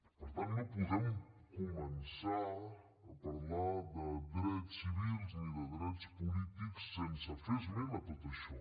per tant no podem començar a parlar de drets civils ni de drets polítics sense fer esment de tot això